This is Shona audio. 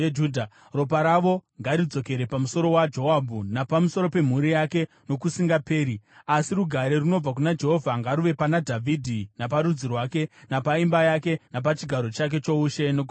Ropa ravo ngaridzokere pamusoro waJoabhu, napamusoro pemhuri yake nokusingaperi. Asi rugare runobva kuna Jehovha ngaruve pana Dhavhidhi, naparudzi rwake, napaimba yake, napachigaro chake choushe nokusingaperi.”